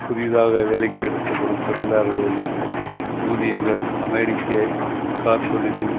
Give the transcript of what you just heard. புதிதாக வேலைக்கு எடுக்கப்படும் தொழிலாளர்களின் ஊதியங்கள் அமெரிக்க கார் தொழிலில்